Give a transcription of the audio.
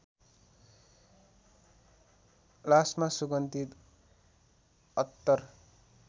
लासमा सुगन्धित अत्तर